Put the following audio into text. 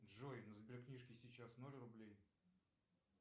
джой на сберкнижке сейчас ноль рублей